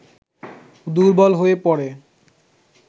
দুর্বল হয়ে পড়ে